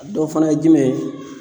A dɔ fana ye jumɛn ye